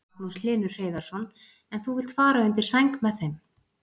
Magnús Hlynur Hreiðarsson: En þú vilt fara undir sæng með þeim?